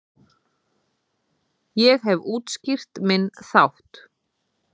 Ég hef útskýrt minn þátt.